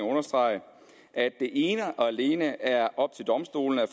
at understrege at det ene og alene er op til domstolene at